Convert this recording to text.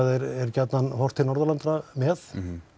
gjarnan er horft til Norðurlandanna með